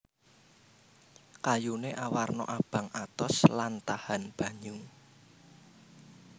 Kayuné awarna abang atos lan tahan banyu